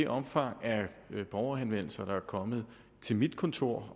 omfanget af de borgerhenvendelser der er kommet til mit kontor